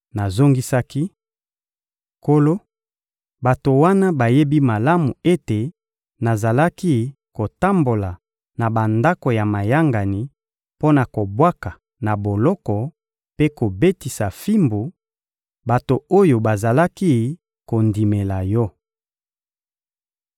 Nazongisaki: «Nkolo, bato wana bayebi malamu ete nazalaki kotambola na bandako ya mayangani mpo na kobwaka na boloko mpe kobetisa fimbu, bato oyo bazalaki kondimela Yo.